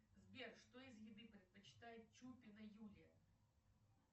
сбер что из еды предпочитает чупина юлия